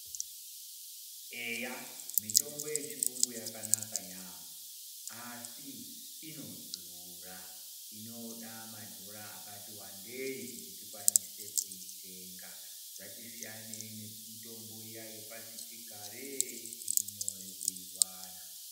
Eya, mitombo yechirungu yakanaka yambo asii inodhura. Inoda madhora akati wandei kuti tikwanise kuitenga. Zvatisiyanei nemitombo iya yepasi chigare iri nyore kuiwana.